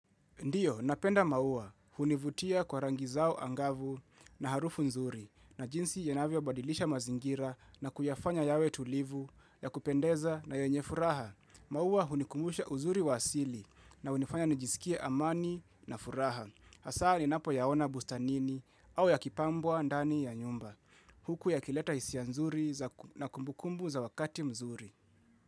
Ndio, napenda maua. Hunivutia kwa rangi zao angavu na harufu nzuri na jinsi yanavyo badilisha mazingira na kuyafanya yawe tulivu ya kupendeza na yenye furaha. Maua hunikumbusha uzuri wa asili na hunifanya nijiskie amani na furaha. Hasa ninapo yaona bustanini au ya kipambwa ndani ya nyumba. Huku ya kileta hisia nzuri za na kumbukumbu za wakati mzuri.